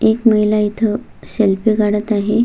एक महिला इथ सेल्फी काडत आहे.